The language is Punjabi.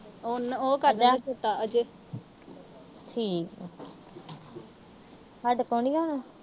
ਉਹ ਕਰਦਾ ਅਜੈ। ਠੀਕ ਆ। ਸਾਡੇ ਕੋਲ ਨੀ ਆਉਣਾ।